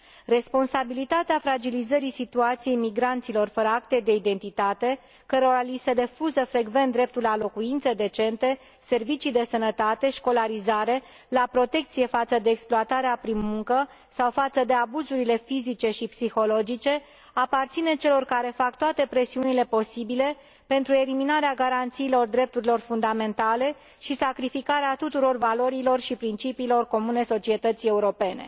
Responsabilitatea fragilizării situației migranților fără acte de identitate, cărora li se refuză frecvent dreptul la locuințe decente, la servicii de sănătate, la școlarizare, la protecție față de exploatarea prin muncă sau față de abuzurile fizice și psihologice, aparține celor care fac toate presiunile posibile pentru eliminarea garanțiilor drepturilor fundamentale și sacrificarea tuturor valorilor și principiilor comune societății europene.